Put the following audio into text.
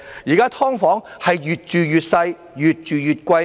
現時"劏房"越住越細、越住越貴。